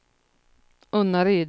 Unnaryd